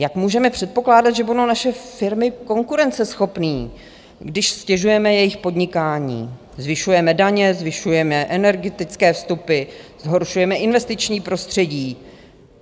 Jak můžeme předpokládat, že budou naše firmy konkurenceschopné, když ztěžujeme jejich podnikání, zvyšujeme daně, zvyšujeme energetické vstupy, zhoršujeme investiční prostředí.